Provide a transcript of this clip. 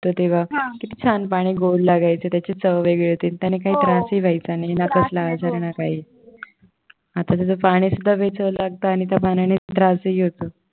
तर तेव्हा किती छान पाणी गोड लागायचं त्याची चव वेगळी होती त्याने काही त्रासही व्हायचा नाही ना कसला आजार ना काही आता ते पाणीही बेचव लागत आणि त्या पाण्याने त्रासही होतो.